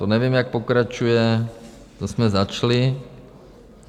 To nevím, jak pokračuje, to jsme začali.